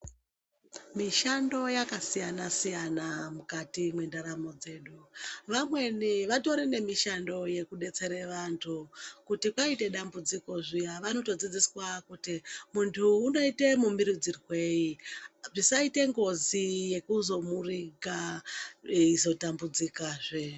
Mishando yakasiyana-siyana, mukati mwendaramo dzedu, vamweni vatori nemishando yekudetsere vantu kuti kwaite dambudziko zviyana vanotodzidziswa kuti muntu unoite muumboridzirwei, zvisaite ngozi yekuzomuriga eizota mbudzikazve.